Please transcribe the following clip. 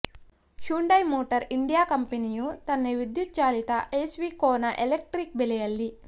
Hyundai motor India ಕಂಪನಿಯು ತನ್ನ ವಿದ್ಯುತ್ ಚಾಲಿತ ಎಸ್ಯುವಿ ಕೋನಾ ಎಲೆಕ್ಟ್ರಿಕ್ ಬೆಲೆಯಲ್ಲಿ